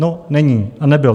No, není a nebyl.